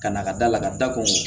Ka na ka da la ka da ko